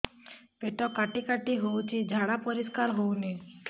ପେଟ କାଟି କାଟି ହଉଚି ଝାଡା ପରିସ୍କାର ହଉନି